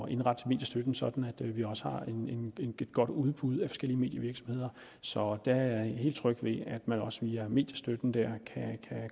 at indrette mediestøtten sådan at vi også har et godt udbud af forskellige medievirksomheder så jeg er helt tryg ved at man også via mediestøtten